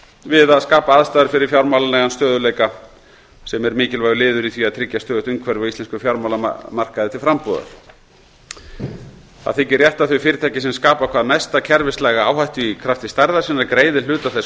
við að skapa aðstæður fyrir fjármálalegan stöðugleika sem er mikilvægur liður í því að tryggja stöðugt umhverfi á íslenskum fjármálamarkaði til frambúðar rétt þykir að þau fyrirtæki sem skapa hvað mesta kerfislæga áhættu í krafti stærðar sinnar greiði hluta þess